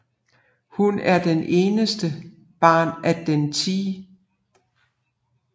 Hun er det eneste barn af den 10